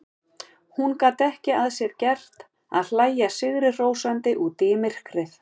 Hún gat ekki að sér gert að hlæja sigrihrósandi út í myrkrið.